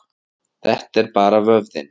Þetta er bara vöðvinn.